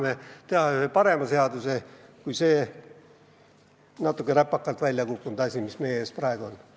Me saame teha parema seaduse, kui on see natuke räpakalt välja kukkunud dokument, mis meie ees praegu on.